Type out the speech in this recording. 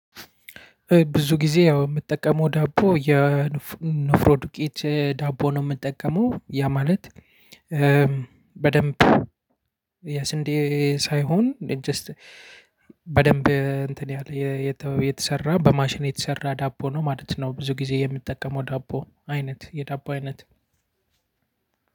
ብዙ ጊዜ የምጠቀመው ዳቦ የኖፍሮ ዱቄት ዳቦ ነው የምጠቀመው፤ ያ ማለት በደንብ የስንዴ ሳይሆን በደንብ እንትን ያለ የተሰራ በማሽን የተሰራ ዳቦ ነው ማለት ነው። ብዙ ጊዜ የምትጠቀመው ዳቦ አይነት የዳቦ አይነት